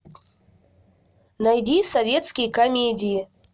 найди советские комедии